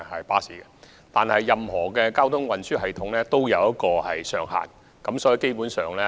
不過，任何交通運輸工具都有乘載上限。